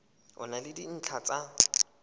e na le dintlha tsa